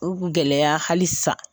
U gɛlɛya hali sa.